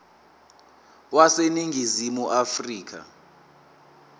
wase ningizimu afrika